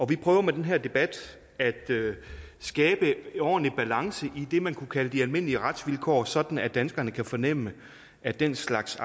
vi prøver med den her debat at skabe en ordentlig balance i det man kunne kalde de almindelige retsvilkår sådan at danskerne kan fornemme at den slags